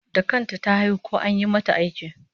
Da kanta ta haihu ko an yi mata aiki?